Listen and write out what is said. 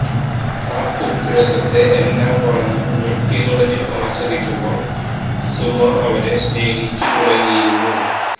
ആ ഉപ്പു രസത്തെ എല്ലാം മറന്നു ഞൊട്ടി നുണഞ്ഞു ആസ്വദിക്കുമ്പോൾ സുമ അവനെ സ്നേഹിച്ചു തുടങ്ങിയിരുന്നു